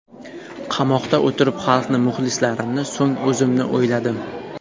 Qamoqda o‘tirib, xalqni, muxlislarimni, so‘ng o‘zimni o‘yladim.